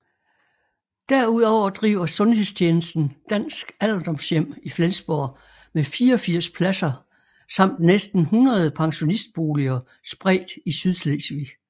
Derudover driver sundhedstjenesten Dansk Alderdomshjem i Flensborg med 84 pladser samt næsten 100 pensionistboliger spredt i Sydslesvig